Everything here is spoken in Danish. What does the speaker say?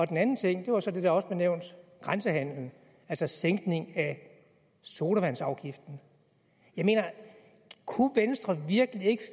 den anden ting var så det der også blev nævnt grænsehandelen altså sænkning af sodavandsafgiften kunne venstre virkelig ikke